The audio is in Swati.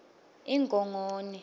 ingongoni